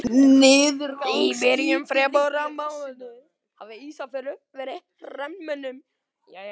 Í byrjun febrúarmánaðar hafði Ísafjörður verið hernuminn.